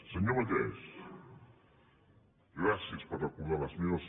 senyor vallès gràcies per recordar les meves